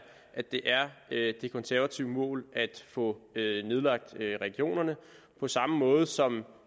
at det er det konservative mål at få nedlagt regionerne på samme måde som